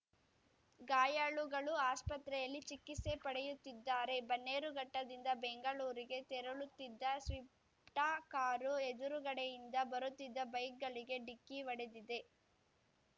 ಗಾಯಾಳುಗಳು ಆಸ್ಪತ್ರೆಯಲ್ಲಿ ಚಿಕಿತ್ಸೆ ಪಡೆಯುತ್ತಿದ್ದಾರೆ ಬನ್ನೇರುಘಟ್ಟದಿಂದ ಬೆಂಗಳೂರಿಗೆ ತೆರಳುತ್ತಿದ್ದ ಸ್ವಿಫ್ಟ ಕಾರು ಎದುರುಗಡೆಯಿಂದ ಬರುತ್ತಿದ್ದ ಬೈಕ್‌ಗಳಿಗೆ ಡಿಕ್ಕಿ ಹೊಡೆದಿದೆ